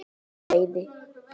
var á seyði.